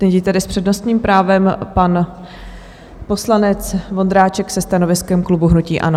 Nyní tedy s přednostním právem pan poslanec Vondráček se stanoviskem klubu hnutí ANO.